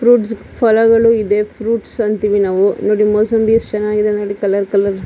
fruits ಫಲ ಗಳು ಇದೆ ಫ್ರೂಟ್ಸ್ ಅಂತೀವಿ ನಾವು ನೋಡಿ ಮುಸುಂಬಿ ಯೆಸ್ಟ್ ಚೆನ್ನಾಗಿದೆ ನೋಡಿ ಕಲರ್ ಕಲರ್ --